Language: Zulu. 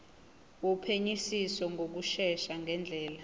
wophenyisiso ngokushesha ngendlela